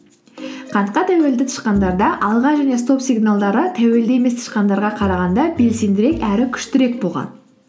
қантқа тәуелді тышқандарда алға және стоп сигналдары тәуелді емес тышқандарға қарағанда белсендірек әрі күштірек болған